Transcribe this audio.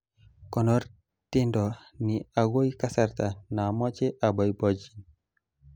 konor tendo ni agoi kasarta namoche aboibochin